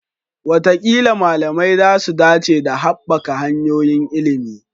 Wataƙila malamai za su dace da haɓaka hanyoyin ilimi.